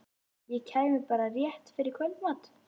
Ég kæmi bara rétt fyrir kvöldmatinn.